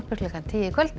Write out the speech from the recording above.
klukkan tíu í kvöld